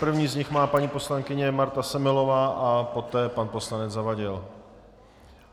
První z nich má paní poslankyně Marta Semelová a poté pan poslanec Zavadil.